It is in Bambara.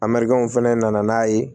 A mariyamu fɛnɛ nana n'a ye